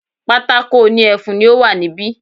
Pátákó òní ẹfun ni ó wà ní bi